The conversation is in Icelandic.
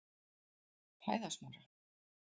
Hæðasmára